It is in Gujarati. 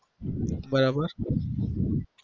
બરાબર